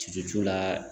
Ci c'u la